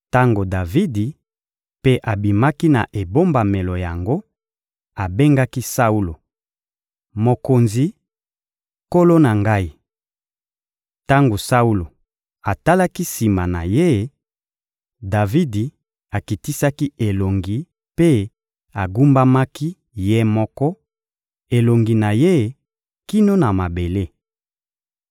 Tango Davidi mpe abimaki na ebombamelo yango, abengaki Saulo: «Mokonzi, nkolo na ngai!» Tango Saulo atalaki sima na ye, Davidi akitisaki elongi mpe agumbamaki ye moko, elongi na ye kino na mabele.